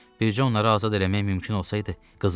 Bircə onları azad eləmək mümkün olsaydı, qızım.